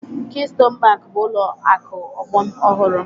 Keystone Bank bụ ụlọ akụ ọgbọ ọhụrụ